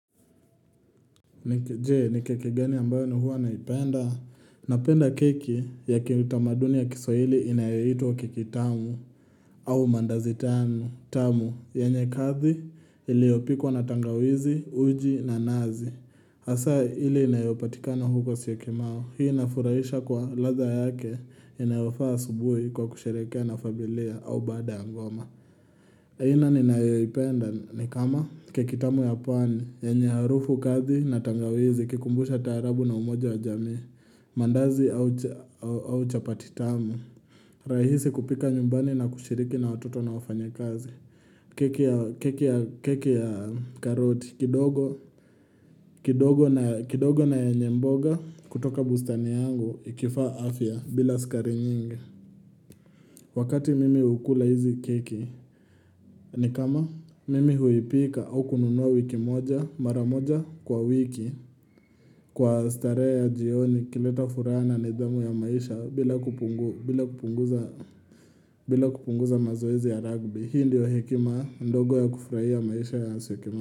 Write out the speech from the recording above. Jee, ni keke gani ambayo ni huwa naipenda? Napenda keki ya kiutamaduni ya kiswahili inayaito kekitamu au mandazitanu. Tamu, yenye kathi iliyopikwa na tangawizi, uji na nazi. Hasa ile inayopatikano huko siyokimau. Hii ina furaisha kwa radha yake inayofaa asubuhi kwa kusherekea na familia au baada ya ngoma. Aina ni nayoipenda ni kama kekitamu ya pwani, yenye harufu kadhi na tangawizi ikikumbusha tarabu na umoja wa jamii, mandazi au chapatitamu. Rahisi kupika nyumbani na kushiriki na watoto na wafanya kazi, keki ya karoti, kidogo na yenye mboga kutoka bustani yangu ikifaa afya bila sukari nyingi. Wakati mimi hukula hizi keki ni kama mimi huipika au kununua wiki moja mara moja kwa wiki Kwa starehe ya jioni ikileta furaha na nidhamu ya maisha bila kupunguza mazoezi ya ragby Hii ndiyo hekima ndogo ya kufurahia ya maisha ya siokimau.